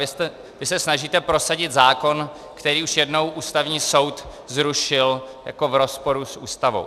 Vy se snažíte prosadit zákon, který už jednou Ústavní soud zrušil jako v rozporu s Ústavou.